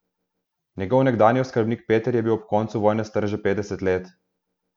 Njegov nekdanji oskrbnik Peter je bil ob koncu vojne star že petdeset let.